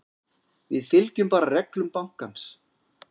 Við fylgjum bara reglum bankans.